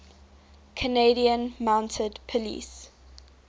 canadian mounted police